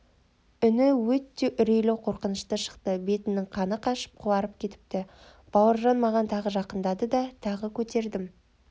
үні өте үрейлі қорқынышты шықты бетінің қаны қашып қуарып кетіпті бауыржан маған тағы жақындады тағы көтердім